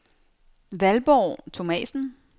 Valborg Thomasen